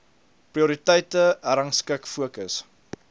prioriteite herrangskik fokus